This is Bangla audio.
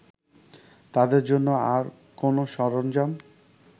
তাদের জন্য আর কোনো সরঞ্জাম